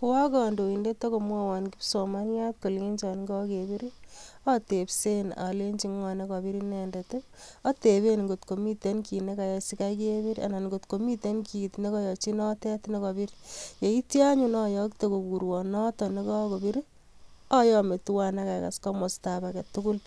Koakandoindet akomwon kipsomaniat kolenchin kagebir awatesenb alenji NGO nekabir inendet, atebenkot ko Mii ki nikayai sikaki kebir anan komiten ki nikayachi notet nikabir yeit anyu ayakte kokurwon noton nikabir ayame twan akakas komosta ab aketugul